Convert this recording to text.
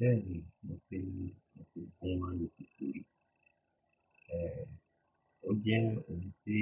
Bẹ́ẹ̀ni mo ti rí ọkọ̀ ohun máa ń lo kíkí. Èè o jẹ́ ohun tí